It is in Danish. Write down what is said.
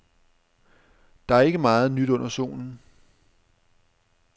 Der er ikke meget nyt under solen.